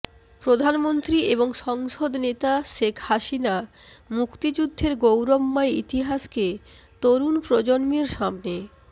প্রধানমন্ত্রী এবং সংসদ নেতা শেখ হাসিনা মুক্তিযুদ্ধের গৌরবময় ইতিহাসকে তরুণ প্রজন্মের সামনে